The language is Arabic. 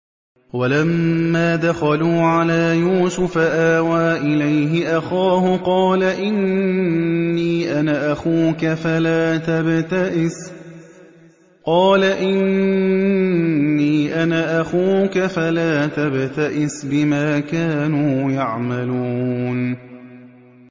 وَلَمَّا دَخَلُوا عَلَىٰ يُوسُفَ آوَىٰ إِلَيْهِ أَخَاهُ ۖ قَالَ إِنِّي أَنَا أَخُوكَ فَلَا تَبْتَئِسْ بِمَا كَانُوا يَعْمَلُونَ